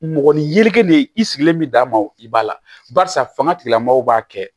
Mɔgɔnin ne ye i sigilen bi d'a ma i b'a la barisa fanga tigilamɔgɔw b'a kɛ